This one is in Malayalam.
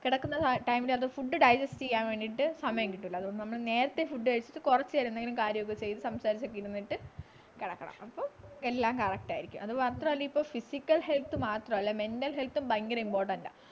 കിടക്കുന്ന time ലു അത് food diagest ചെയ്യാൻ വേണ്ടീട്ടു സമയം കിട്ടൂല അതുകൊണ്ടാണ് നമ്മള് നേരത്തെ food കഴിച്ചിട്ട് കൊറച്ചു നേരം എന്തെങ്കിലും കാര്യം ഒക്കെ ചെയ്ത് സംസാരിച്ചൊക്കെ ഇരുന്നിട്ട് കിടക്കണം അപ്പൊ എല്ലാം correct ആയിരിക്കും അത് മാത്രമല്ല ഇപ്പൊ physical health മാത്രല്ല , mental health ഉം ഭയങ്കര important ആ